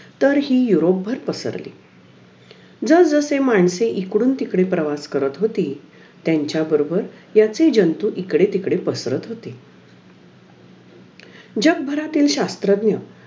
अं tuition tution लावले तर , तिथे पण आमचे tuition चे sir पण खूप छान शिकवायचे.